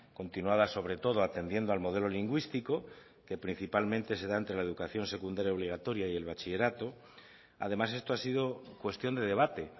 continuada sobre todo atendiendo al modelo lingüístico que principalmente se da entre la educación secundaria obligatoria y el bachillerato además esto ha sido cuestión de debate